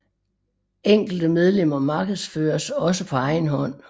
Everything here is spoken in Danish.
Enkelte medlemmer markedsføres også på egen hånd